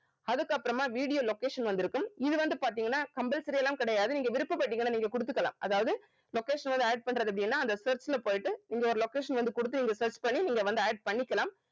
அதுக்கப்புறமா video location வந்திருக்கும் இது வந்து பாத்தீங்கன்னா compulsory எல்லாம் கிடையாது நீங்க விருப்ப பட்டீங்கன்னா நீங்க குடுத்துக்கலாம் அதாவது location ஓட add பண்றது எப்படின்னா அந்த search ல போயிட்டு இங்க ஒரு location வந்து குடுத்து இங்க search பண்ணி நீங்க வந்து add பண்ணிக்கலாம்